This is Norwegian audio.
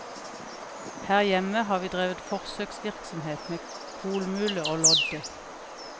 Her hjemme har vi drevet forsøksvirksomhet med kolmule og lodde.